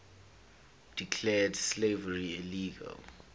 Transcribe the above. declared slavery illegal